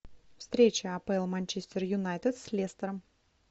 встреча апл манчестер юнайтед с лестером